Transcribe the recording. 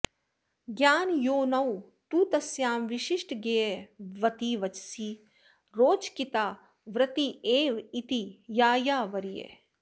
ज्ञानयोनौ तु तस्यां विशिष्टज्ञेयवति वचसि रोचकितावृत्तिरेव इति यायावरीयः